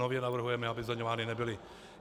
Nově navrhujeme, aby zdaňovány nebyly.